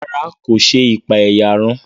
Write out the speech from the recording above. Ràrá, ko ṣe ipaeyarun